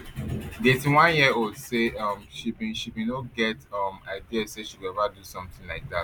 di eighty-oneyearold say um she bin she bin no get um idea say she go eva do somtin like dat